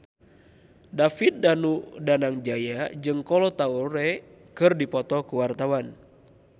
David Danu Danangjaya jeung Kolo Taure keur dipoto ku wartawan